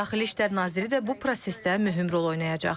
Daxili İşlər naziri də bu prosesdə mühüm rol oynayacaq.